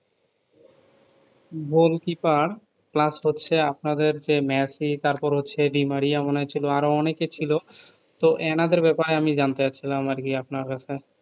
গোল goalkeeper plus হচ্ছে আপনাদের যে মেসি তার পর হচ্ছে দি মারি এমন হয়েছিলো আরো অনেকে ছিলও তো এনাদের ব্যাপারে আমি জানতে চাচ্ছিলাম আর কি আপনার কাছে